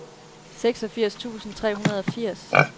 seksogfirs tusind tre hundrede og firs